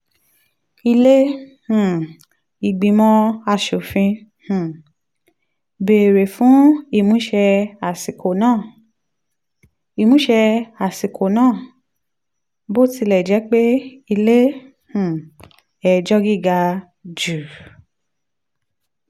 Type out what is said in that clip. ilé um ìgbìmọ̀ aṣòfin um béèrè fún ìmúṣẹ àsìkò náà. ìmúṣẹ àsìkò náà. bó tilẹ̀ jẹ́ pé ilé um ẹjọ́ gíga jù